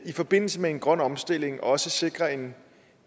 i forbindelse med en grøn omstilling også sikrer en